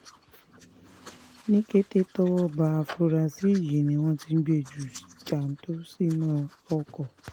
ní kété tọ́wọ́ ba afurasí yìí ni wọ́n ti gbé e ju jàǹtò sínú ọkọ̀